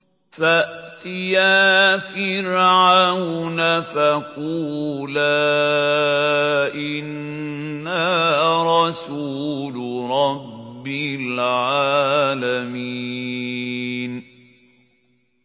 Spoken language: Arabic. فَأْتِيَا فِرْعَوْنَ فَقُولَا إِنَّا رَسُولُ رَبِّ الْعَالَمِينَ